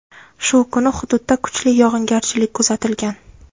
Shu kuni hududda kuchli yog‘ingarchilik kuzatilgan.